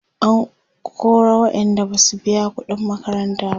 an kora waƴanda Basu biya ƙuɗin makaranta ba